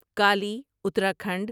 Kali Uttarakhand